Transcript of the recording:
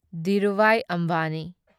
Dhirubhai Ambani